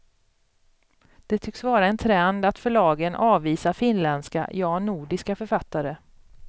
Det tycks vara en trend att förlagen avvisar finländska, ja nordiska, författare.